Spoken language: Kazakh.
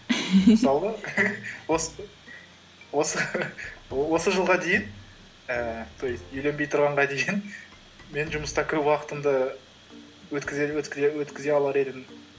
мысалы осы жылға дейін ііі то есть үйленбей тұрғанға дейін мен жұмыста көп уақытымды өткізе алар едім